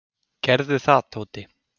"""Gerðu það, Tóti."""